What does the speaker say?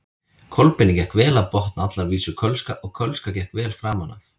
Kolbeini gekk vel að botna allar vísur kölska og kölska gekk vel framan af.